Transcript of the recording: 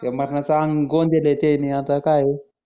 मरनाच आंग गोंदल आहे त्यांनी आता काय